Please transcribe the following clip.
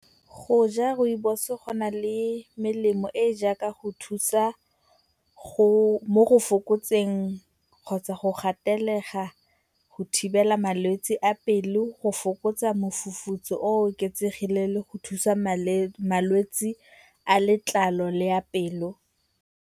Go ja Rooibos-o go na le melemo e e jaaka go thusa mo go fokotseng kgotsa go gatelega go thibela malwetse a pelo, go fokotsa mofufutso o oketsegileng le go thusa malwetse a letlalo le a pelo.